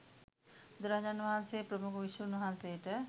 බුදුරජාණන් වහන්සේ ප්‍රමුඛ භික්ෂූන් වහන්සේට